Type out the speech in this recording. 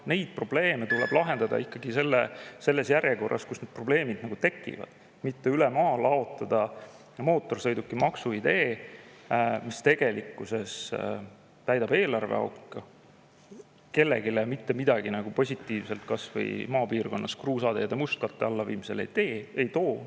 Neid probleeme tuleb lahendada ikkagi selles järjekorras, kuidas need probleemid tekivad, mitte laotada üle maa mootorsõidukimaksu idee, mis tegelikkuses täidab eelarveauku, aga kellelegi mitte midagi positiivset kasvõi maapiirkonnas kruusateede mustkatte alla viimisena kaasa ei too.